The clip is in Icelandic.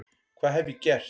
Hvað hef ég gert?